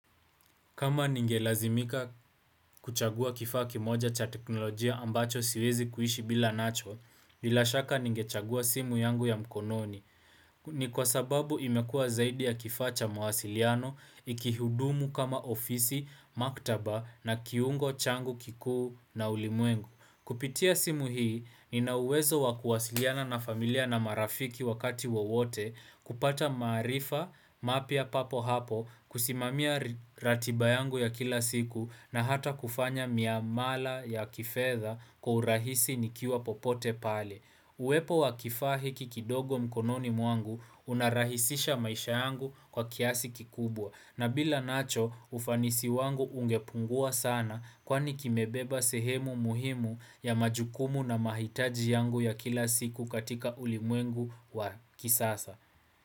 Kama ningelazimika kuchagua kifaa kimoja cha teknolojia ambacho siwezi kuishi bila nacho, bilashaka ningechagua simu yangu ya mkononi. Ni kwa sababu imekuwa zaidi ya kifaa cha mawasiliano, ikihudumu kama ofisi, maktaba na kiungo changu kikuu na ulimwengu. Kupitia simu hii, ninauwezo wakuwasiliana na familia na marafiki wakati wowote kupata maarifa mapya papo hapo kusimamia ratiba yangu ya kila siku na hata kufanya miamala ya kifedha kwa urahisi nikiwa popote pale. Uwepo wa kifaa hiki kidogo mkononi mwangu unarahisisha maisha yangu kwa kiasi kikubwa na bila nacho ufanisi wangu ungepungua sana kwani kimebeba sehemu muhimu ya majukumu na mahitaji yangu ya kila siku katika ulimwengu wa kisasa.